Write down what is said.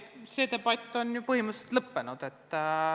Ei, see debatt on ju põhimõtteliselt lõppenud.